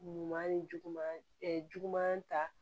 Ɲuman ni juguman juguman ta